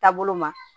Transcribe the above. Taabolo ma